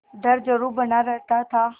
डर जरुर बना रहता था